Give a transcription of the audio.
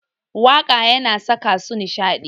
Waƙa yana saka su nishaɗi.